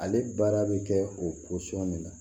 Ale baara bɛ kɛ o min na